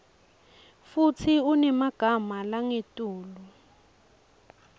futsi unemagama langetulu